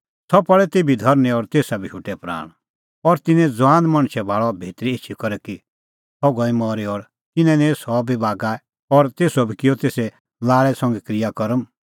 सह पल़ी तेभी धरनीं और तेसा बी शोटै प्राण और तिन्नैं ज़ुआन मणछै भाल़अ भितरी एछी करै कि सह गई मरी और तिन्नैं निंईं सह बी बागै और तेसो बी किअ तेसे लाल़ै संघै क्रियाकर्म